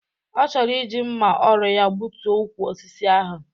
Ọ chọrọ iji mma ọrụ ya gbutuo ukwu osisi ahụ.